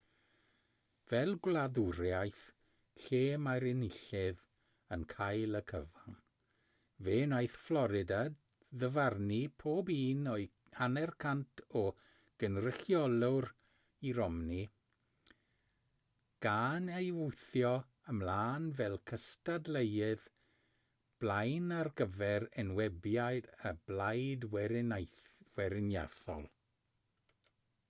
fel gwladwriaeth lle mae'r enillydd yn cael y cyfan fe wnaeth fflorida ddyfarnu pob un o'i hanner cant o gynrychiolwyr i romney gan ei wthio ymlaen fel cystadleuydd blaen ar gyfer enwebiad y blaid weriniaethol